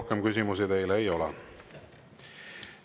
Rohkem küsimusi teile ei ole.